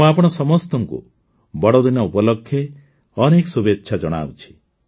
ମୁଁ ଆପଣ ସମସ୍ତଙ୍କୁ ବଡ଼ଦିନ ଉପଲକ୍ଷେ ଅନେକ ଶୁଭେଚ୍ଛା ଜଣାଉଛି